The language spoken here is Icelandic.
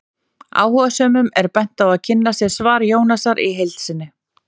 Áhugasömum er bent á að kynna sér svar Jónasar í heild sinni.